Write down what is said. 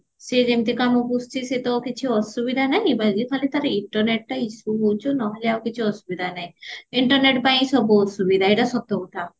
ସିଏ ଯେମିତି କାମ କରୁଚି ସିଏ ତ କିଛି ଅସୁବିଧା ନାହିଁ ବାକି ଖାଲି ତାର internet ଟା issue ହଉଚି ନହେଲେ ଆଉ କିଛି ତାର ଅସୁବିଧା ନାହିଁ internet ପାଇଁ ସବୁ ସୁବିଧା ଏଇଟା ସତ କଥା